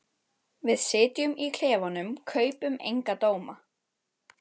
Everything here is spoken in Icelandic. Við sem sitjum í klefunum kaupum enga dóma.